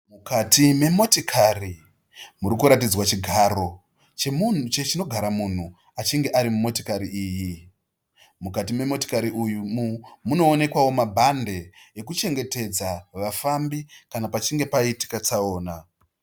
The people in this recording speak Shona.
Mukati memotikari muri kutaridzwa chigaro icho chinogara munhu achine ari mukati memotokari iyi. Mukati memotikari umu munoonekwawo mabhande ekuchengetedza vafambi kana pachinge paitika tsaona.